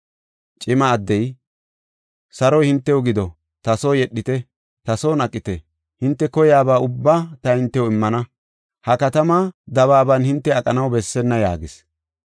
Cima addey, “Saroy hintew gido; ta soo yedhite; ta son aqite; hinte koyaba ubbaa ta hintew immana. Ha katamaa dabaaban hinte aqanaw bessenna” yaagis.